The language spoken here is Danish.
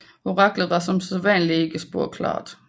Oraklet var som sædvanligt ikke spor klart